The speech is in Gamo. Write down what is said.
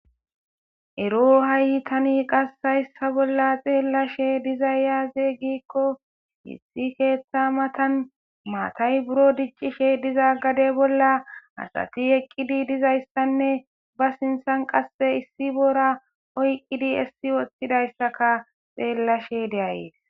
ero hayytani qassayssa bolla xeellashe dizay yaaze giikko hissi keeththa matan maatay buro diccishe diza gade bolla asati eqqidi dizayssanne ba sinthan qasse issi bora oyqqidi essi woththidayssaka xeellashe deayee